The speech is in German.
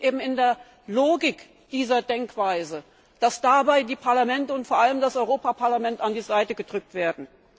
Es liegt in der Logik dieser Denkweise, dass dabei die Parlamente und vor allem das Europaparlament an die Seite gedrückt werden.